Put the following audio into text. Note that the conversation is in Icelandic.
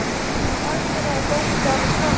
Er alþjóðlegur fótbolti orðinn svona?